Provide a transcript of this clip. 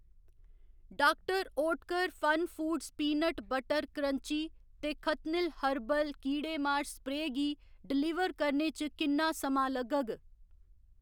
Doctor Oetker FunFoods peanut butter crunchy ते खतनिल herbal कीड़ेमार स्प्रेऽ गी डलीवर करने च किन्ना समां लग्गग?